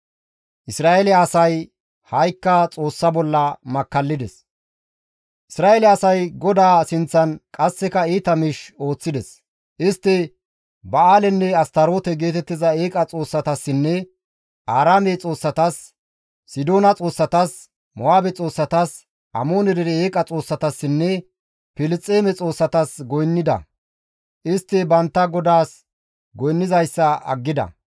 Isra7eele asay GODAA sinththan qasseka iita miish ooththides; istti Ba7aalenne Astaroote geetettiza eeqa xoossatassinne Aaraame xoossatas, Sidoona xoossatas, Mo7aabe xoossatas, Amoone dere eeqa xoossatassinne Filisxeeme xoossatas goynnida. Istti bantta GODAAS goynnizayssa aggida.